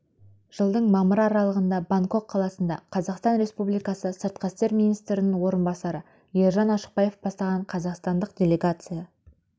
жылдың мамыры аралығында бангкок қаласында қазақстан республикасы сыртқы істер министрінің орынбасары ержан ашықбаев бастаған қазақстандық делегация